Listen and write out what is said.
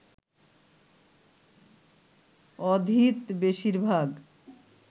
অধীত বেশির ভাগ